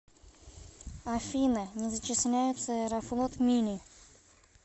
афина не зачисляются аэрофлот мили